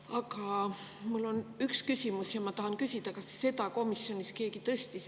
Aga mul on üks küsimus ja ma tahan küsida, kas selle komisjonis keegi tõstatas.